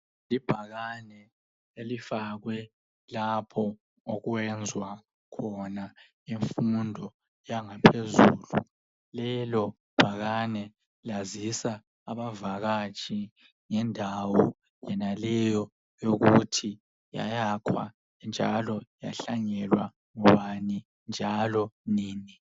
Libhakane elifakwe lapho okwenziwa khona imfundo yangaphezulu. Lelobhakane liyazisa abavakatshi ngendawo yonaleyo ukuthi yayakhwa, ngubani, njalo yahlanyelwa nini.